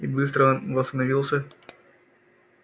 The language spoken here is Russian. и быстро он восстановился